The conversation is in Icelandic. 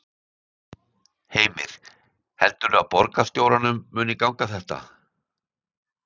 Heimir: Heldurðu að borgarstjóranum muni ganga þetta?